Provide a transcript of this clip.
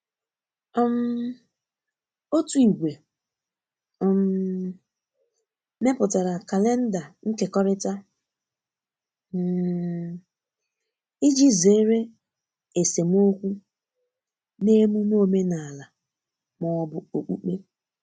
um otu ìgwè um meputara kalenda nkekọrita um iji zere esemeokwu na emume omenala ma ọ bụ okpụkpe.